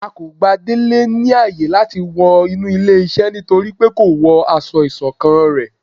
A kò gbà délé ní áye làti wọ inú ilé iṣẹ nítorípé ko wọ aṣọ isokán ré